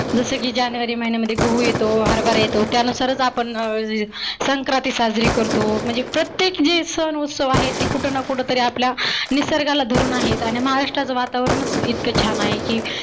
जस की जानेवारी महिन्यामध्ये गहु येतो हरबरा येतो त्यानुसारच आपण अं संक्रांती साजरी करतो म्हणजी प्रत्येक जे सन उत्सव जे आहेत ते कुठना कुठ आपल्या निसर्गाला धरुन आहेत. आणि महाराष्ट्राच वातावरनच इतक छान आहे की